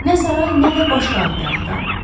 Nə saray, nə də başqa abidə axtarın.